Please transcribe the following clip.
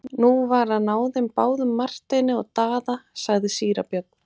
Nú var að ná þeim báðum Marteini og Daða, sagði síra Björn.